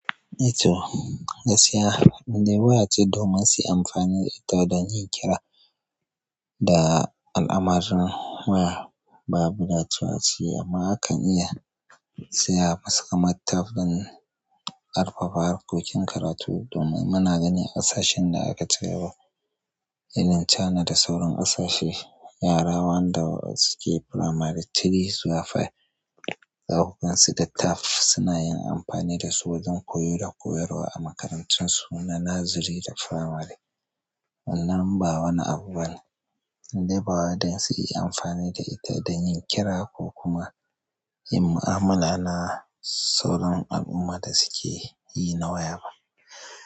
Ito, gaskiya, in dai ba wa ce domin su yi amfani da ita ba don yin kira da al'amarin waya. Babu dacewa a ciki amma akan iya saya masu kamar tab zai rufe harkokin karatu domin muna ganin ƙasashe da aka tayarwa. Ilin chana da sauran ƙasashe, yara wanda suke firamari three zuwa five, zaku gan su da tab suna yin amfani da su wajen koyo da koyarwa a makarantun su na nazari da firamare. Wannan ba wani abu bane in dai ba waɗansu yi amfani da ita don yin kira ko kuma yin mu'amala na sauran abun ma da suke yi na waya ba.